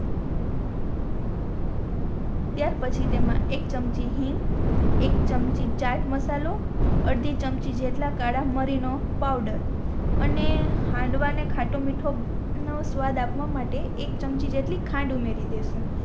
ત્યાર પછી તેમા એક ચમચી હિંગ એક ચમચી ચાટ મસાલો અર્ધી ચમચી જેટલી કાળા મારી નો પાઉડર અને હાંડવા ને ખાતો મીઠો નો સ્વાદ આપવા માટે એક ચમચી જેટલી ખાંડ ઉમેરી દેસું